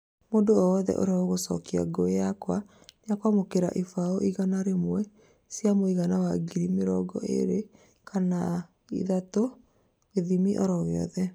Mũndũ o wothe ũrĩa ũgũcokia ngũĩ yakwa nĩakwamũkĩra ibaũ igana rĩmwe cia mũigana wa ngiri mĩrongo ĩrĩ kana ĩtatũ, gĩthimi oro gĩothe